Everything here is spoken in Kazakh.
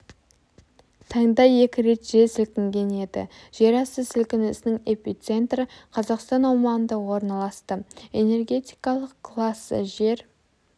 таңда екі рет жер сілкінген еді жер асты сілкінісінің эпицентрі қазақстан аумағында орналасты энергетикалық классы жер